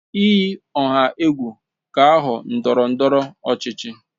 Iyi ọha egwu ga-aghọ ndọrọ ndọrọ ọchịchị